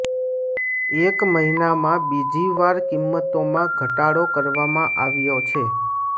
એક મહિનામાં બીજીવાર કિંમતોમાં ઘટાડો કરવામાં આવ્યો છે